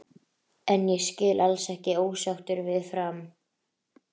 Fyrsta árið jókst neyslan verulega en hún gekk þó fljótt til baka.